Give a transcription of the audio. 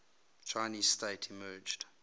chinese state emerged